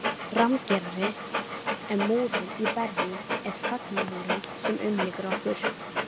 Rammgerari en múrinn í Berlín er þagnarmúrinn sem umlykur okkur